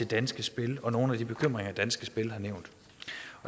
danske spil og nogle af de bekymringer danske spil har nævnt